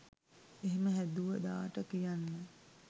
එහෙම හැදුව දාට කියන්න